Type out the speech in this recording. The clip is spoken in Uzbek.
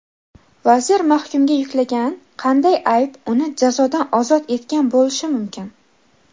vazir mahkumga yuklagan qanday ayb uni jazodan ozod etgan bo‘lishi mumkin?.